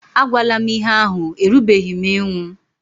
A gwala m ihé ahụ, erubeghị m ịnwụ!